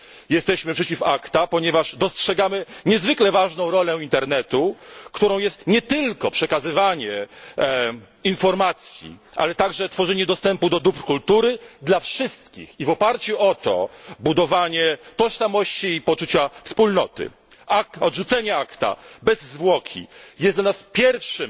Jesteśmy przeciw ACTA, ponieważ dostrzegamy niezwykle ważną rolę internetu, którą jest nie tylko przekazywanie informacji, ale także tworzenie dostępu do dóbr kultury dla wszystkich i, w oparciu o to, budowanie tożsamości i poczucia wspólnoty. Bezzwłoczne odrzucenie ACTA bez zwłoki jest dla nas pierwszym